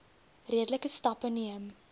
redelike stappe neem